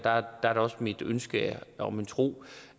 er det også mit ønske og min tro